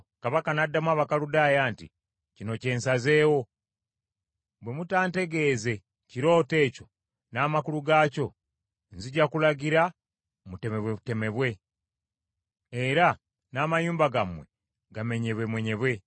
Kabaka n’addamu Abakaludaaya nti, “Kino kye nsazeewo; bwe mutantegeeze kirooto ekyo, n’amakulu gaakyo, nzija kulagira mutemebwetemebwe, era n’amayumba gammwe gamenyebwemenyebwe.